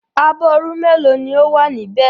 Abọ́ irú mélòó ni ó wà níbẹ̀?